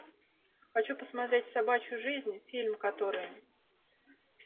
хочу посмотреть собачью жизнь фильм который